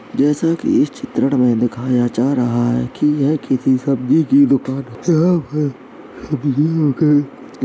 जैसे कि इस चित्रण में दिखाया जा रहा है कि यह किसी सब्जी कि दुकान --